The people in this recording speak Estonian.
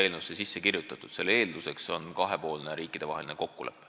Eelnõu kohaselt on eelduseks kahepoolne riikidevaheline kokkulepe.